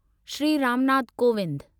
Shri Ram Nath Kovind